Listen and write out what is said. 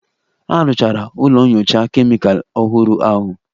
A rụchara ụlọ nyocha Kemịkalụ ọhụrụ ahụ